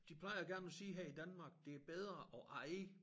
De plejer gerne at sige her i Danmark det bedre at eje